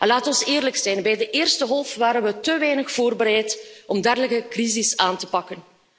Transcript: Laten we eerlijk zijn, bij de eerste golf waren we te weinig voorbereid om een dergelijke crisis aan te pakken.